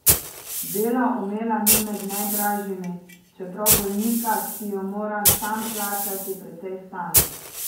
Bela omela ni med najdražjimi, čeprav bolnika, ki jo mora sam plačati, precej stane.